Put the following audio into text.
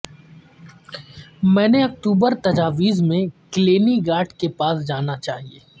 میں نے اکتوبر تجاویز میں کلینی گارڈ کے پاس جانا چاہئے